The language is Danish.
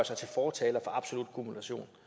sig til fortaler for absolut kumulation